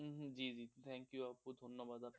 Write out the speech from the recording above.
হম জী জী thank you আপু ধন্যবাদ আপু,